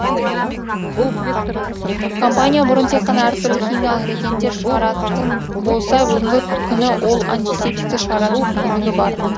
компания бұрын тек қана әртүрлі химиялық реагенттер шығаратын болса бүгінгі күні ол антисептикті шығаратын мүмкіндігі бар